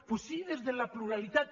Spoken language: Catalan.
doncs sí des de la pluralitat